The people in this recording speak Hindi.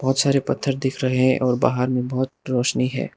बहोत सारे पत्थर दिख रहे हैं और बाहर में बहोत रोशनी है।